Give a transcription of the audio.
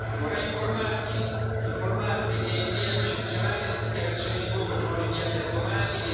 Vorrei informarvi che, in via eccezionale, le dichiarazioni di voto sono rinviate a domani.